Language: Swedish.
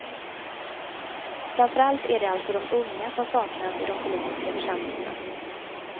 Framför allt är det alltså de unga som saknas i de politiska församlingarna.